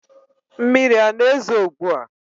Mmiri a na-ezo ugbu a?